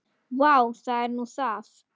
Vá, það er nú það.